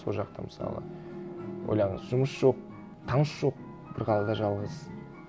сол жақта мысалы ойлаңыз жұмыс жоқ таныс жоқ бір қалада жалғыз